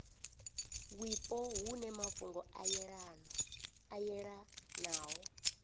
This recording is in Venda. wipo hune mafhungo a yelanaho